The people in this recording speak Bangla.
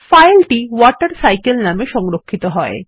ফাইল টি WaterCycleনামে সংরক্ষিত হয়